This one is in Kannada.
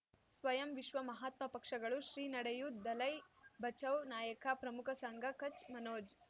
ಸ್ವಯಂ ವಿಶ್ವ ಮಹಾತ್ಮ ಪಕ್ಷಗಳು ಶ್ರೀ ನಡೆಯೂ ದಲೈ ಬಚೌ ನಾಯಕ ಪ್ರಮುಖ ಸಂಘ ಕಚ್ ಮನೋಜ್